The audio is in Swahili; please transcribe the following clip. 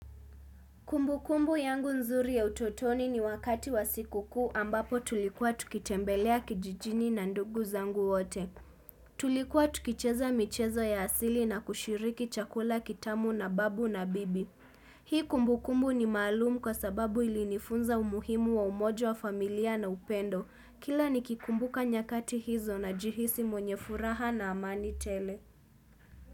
Kumbu kumbu yangu nzuri ya utotoni ni wakati wa siku kuu ambapo tulikuwa tukitembelea kijijini na ndugu zangu wote. Tulikuwa tukicheza michezo ya asili na kushiriki chakula kitamu na babu na bibi. Hii kumbu kumbu ni malumu kwa sababu ili nifunza umuhimu wa umojo wa familia na upendo. Kila nikikumbuka nyakati hizo na jihisi mwenye furaha na amani tele.